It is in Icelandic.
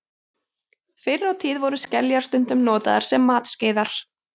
Fyrr á tíð voru skeljar stundum notaðar sem matskeiðar.